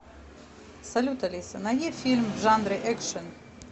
салют алиса найди фильм в жанре экшен